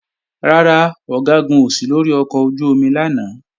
Rárá, Ọ̀gágun ò sí lórí ọkọ̀ ojú-omi lánàá